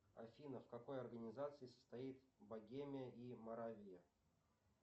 афина в какой организации состоит богемия и моравия